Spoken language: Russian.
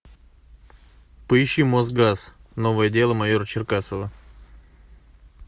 поищи мосгаз новое дело майора черкасова